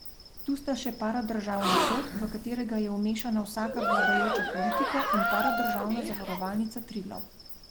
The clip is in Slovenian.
Tu sta še paradržavni Sod, v katerega je vmešana vsaka vladajoča politika, in paradržavna Zavarovalnica Triglav.